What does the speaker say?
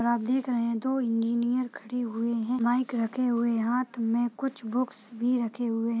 आप देख रहे हैं दो इंजीनियर खड़े हुए हैं माइक रखे हुए हाथ में कुछ बुक्स भी रखे हुए --